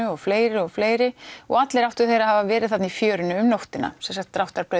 og fleiri og fleiri og allir áttu þeir að hafa verið þarna í fjörunni um nóttina